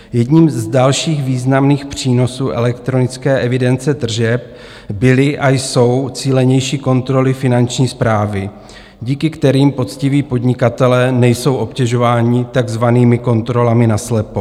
Jedním z dalších významných přínosů elektronické evidence tržeb byly a jsou cílenější kontroly Finanční správy, díky kterým poctiví podnikatelé nejsou obtěžováni takzvanými kontrolami naslepo.